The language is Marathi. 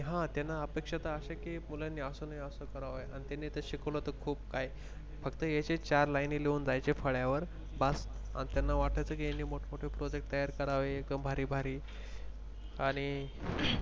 ह त्यांना अपेक्षा त अशे की मुलांनी असं नाही असं करावं. अन त्यांनी शिकवलं तर खूप काई फक्त यायचे चार line लिहून जायचे फळ्यावर बस अन त्यांना वाटायच कि यांनी मोठमोठे Project तयार करावे एकदम भारी भारी आणि